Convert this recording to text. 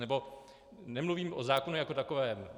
Nebo nemluvím o zákonu jako takovém.